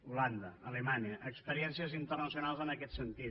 holanda alemanya experiències internacionals en aquest sentit